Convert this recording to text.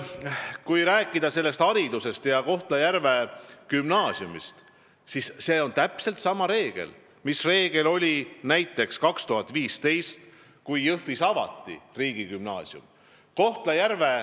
Kui rääkida haridusest ja Kohtla-Järve gümnaasiumist, siis järgime täpselt sama reeglit, mida näiteks aastal 2015, kui Jõhvis avati riigigümnaasium.